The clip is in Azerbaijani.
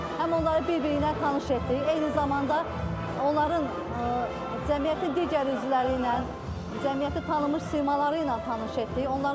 Həm onları bir-biri ilə tanış etdik, eyni zamanda onların cəmiyyətin digər üzvləri ilə, cəmiyyəti tanımış simaları ilə tanış etdik.